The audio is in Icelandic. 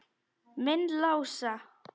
Minn Lása?